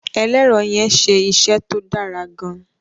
ẹlẹrọ yén ṣe iṣé tó Dára gaan.